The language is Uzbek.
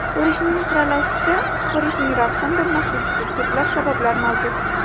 Ko‘rishning xiralashishi Ko‘rishning ravshan bo‘lmasligiga ko‘plab sabablar mavjud.